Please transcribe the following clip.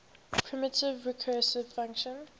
primitive recursive function